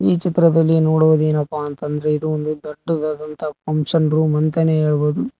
ಈ ಚಿತ್ರದಲ್ಲಿ ನೋಡುವುದೇನಪ್ಪಾ ಅಂತ ಅಂದ್ರೆ ಇದು ದೊಡ್ಡದಾದಂತಹ ಫಂಕ್ಷನ್ ರೂಮ್ ಅಂತಾನೆ ಹೇಳ್ಬೋದು.